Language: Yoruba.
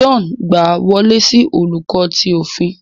John gba wọle si Oluko ti ofin